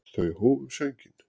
Þau hófu sönginn.